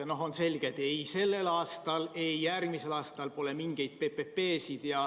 On selge, et ei sellel aastal ega järgmisel aastal pole mingeid PPP-sid.